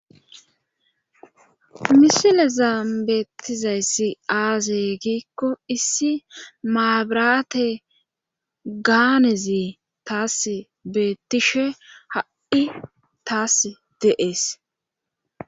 misile zaambeettizayssi aaze giikko issi maabiraate gaanezi taas beettishe ha7i taas deees